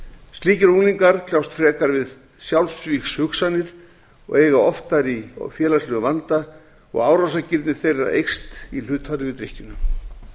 slíkir unglingar kljást frekar við sjálfsvígshugsanir og eiga oftar í félagslegum vanda og árásargirni þeirra eykst í hlutfalli við